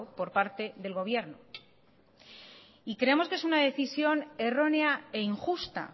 por parte del gobierno y creemos que es una decisión errónea e injusta